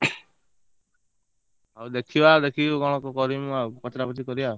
ହଉ ଦେଖିବା ଦେଖିକି କଣ କରିମି ମୁ ଆଉ ପଚରା ପଚରି କରିଆ।